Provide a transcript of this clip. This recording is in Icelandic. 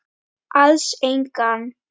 Alls engan.